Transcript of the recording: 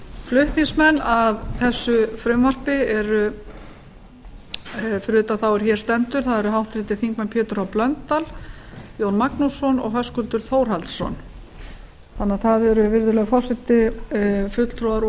flutningsmenn að þessu frumvarpi fyrir utan þá er hér stendur eru háttvirtir þingmenn pétur h blöndal jón magnússon og höskuldur þórhallsson þannig að það eru virðulegi forseti fulltrúar úr